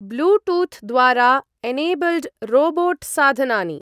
ब्लूटूथ्-द्वारा enabled robot साधनानि।